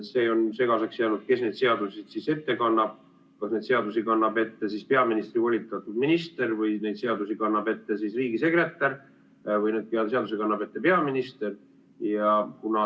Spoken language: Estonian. See on segaseks jäänud, kes need seadused siis ette kannab, kas neid seadusi kannab ette peaministri volitatud minister või neid seadusi kannab ette riigisekretär või neid seadusi kannab ette peaminister.